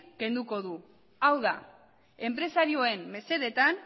kenduko du hau da enpresarioen mesedetan